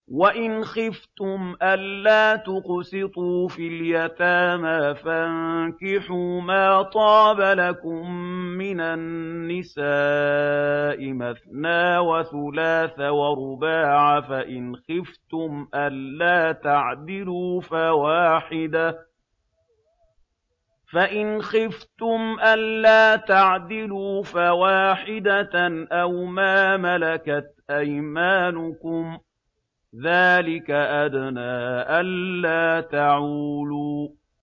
وَإِنْ خِفْتُمْ أَلَّا تُقْسِطُوا فِي الْيَتَامَىٰ فَانكِحُوا مَا طَابَ لَكُم مِّنَ النِّسَاءِ مَثْنَىٰ وَثُلَاثَ وَرُبَاعَ ۖ فَإِنْ خِفْتُمْ أَلَّا تَعْدِلُوا فَوَاحِدَةً أَوْ مَا مَلَكَتْ أَيْمَانُكُمْ ۚ ذَٰلِكَ أَدْنَىٰ أَلَّا تَعُولُوا